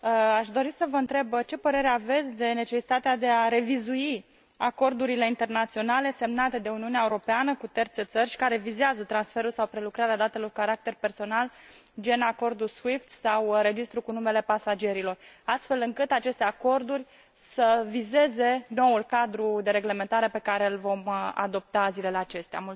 Aș dori să vă întreb, ce părere aveți despre necesitatea de a revizui acordurile internaționale semnate de Uniunea Europeană cu terțe țări care vizează transferul sau prelucrarea datelor cu caracter personal, gen acordul SWIFT sau registrul cu numele pasagerilor, astfel încât aceste acorduri să vizeze noul cadru de reglementare pe care l vom adopta zilele acestea?